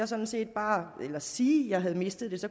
sådan set bare sige at jeg havde mistet mit